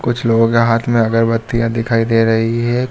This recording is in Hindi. कुछ लोगों के हाथ में अगरबत्तियां दिखाई दे रही हैं।